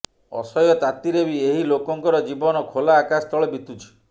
ଅସହ୍ୟ ତାତିରେ ବି ଏହି ଲୋକଙ୍କର ଜୀବନ ଖୋଲା ଆକାଶ ତଳ ବିତୁଛି